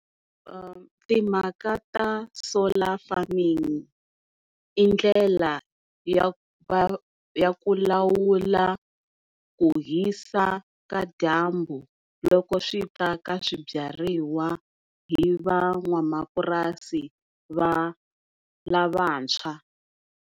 Timhaka ta solar farming i ndlela ya ku ya ku lawula ku hisa ka dyambu loko swi ta ka swibyariwa hi van'wamapurasi la lavantshwa.